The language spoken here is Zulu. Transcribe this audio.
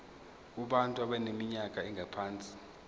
kubantu abaneminyaka engaphansi